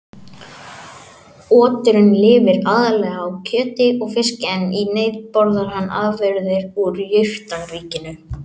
Oturinn lifir aðallega á kjöti og fiski en í neyð borðar hann afurðir úr jurtaríkinu.